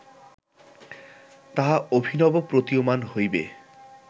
তাহা অভিনব প্রতীয়মান হইবে